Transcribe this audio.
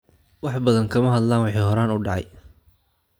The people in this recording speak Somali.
Wax badan kama hadlaan wixii hore u dhacay.